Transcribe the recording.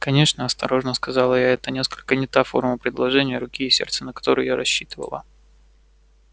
конечно осторожно сказала я это несколько не та форма предложения руки и сердца на которую я рассчитывала